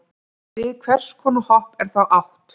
við hvers konar hopp er þá átt